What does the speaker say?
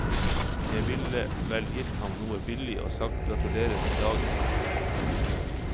Jeg ville vel gitt ham noe billig og sagt gratulerer med dagen.